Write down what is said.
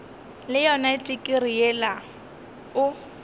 le yona tikirii yela o